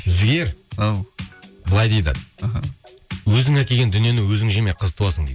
жігер ау былай дейді іхі өзің әкелген дүниені өзің жеме қыз туасың дейді